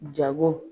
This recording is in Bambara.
Jago